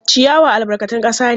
Ciyawa albarkatun kasa ne.